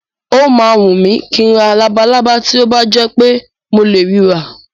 Ó máa wùn mí kí n ra labalábá tó bá jẹ́ pé mo lè ri rà.